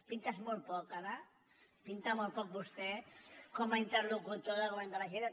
pintes molt poc ara pinta molt poc vostè com a interlocutor del go·vern de la generalitat